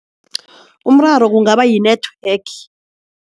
Umraro kungaba yi-network.